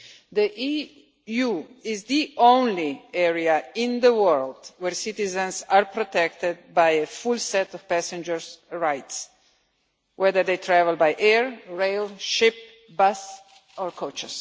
The EU is the only area in the world where citizens are protected by a full set of passengers' rights, whether they travel by air, rail, ship, bus or coach.